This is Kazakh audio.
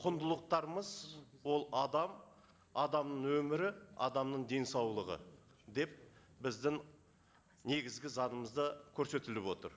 құндылықтарымыз ол адам адамның өмірі адамның денсаулығы деп біздің негізгі заңымызда көрсетіліп отыр